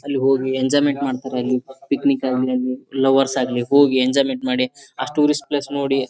ಅಲ್ಲಿ ಹೋಗಿ ಎಂಜಾಯ್ಮೆಂಟ್ ಮಾಡ್ತಾರ ಅಲ್ಲಿ. ಪಿಕ್ಣಿಕ್ ಆಗ್ಲಿ ಲವರ್ಸ್ ಆಗ್ಲಿ ಹೋಗಿ ಎಂಜಾಯ್ಮೆಂಟ್ ಮಾಡಿ ಆ ಟೂರಿಸ್ಟ್ ಪ್ಲೇಸ್ ನೋಡಿ .